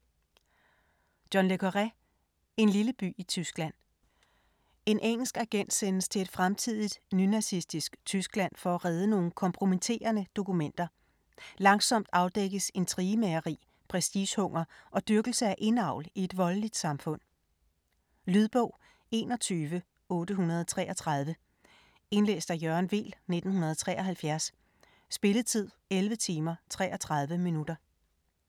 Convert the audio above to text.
Le Carré, John: En lille by i Tyskland En engelsk agent sendes til et fremtidigt nynazistisk Tyskland for at redde nogle kompromitterende dokumenter. Langsomt afdækkes intrigemageri, prestigehunger og dyrkelse af indavl i et voldeligt samfund. Lydbog 21833 Indlæst af Jørgen Weel, 1973. Spilletid: 11 timer, 33 minutter.